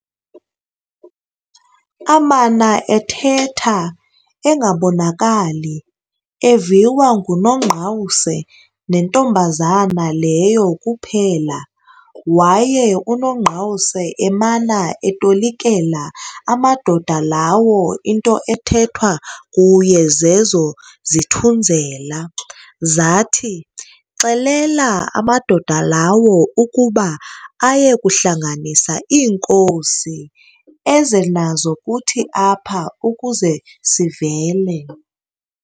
Amana ethetha, engabonakali, eviwa nguNongqawuse nentombazana leyo kuphela, waye uNongqawuse emana etolikela amadoda lawo into ethethwa kuye zezo "zithunzela". Zathi, "Xelela amadoda lawo ukuba aye kuhlanganisa iinkosi, eze nazo kuthi apha ukuze sivele."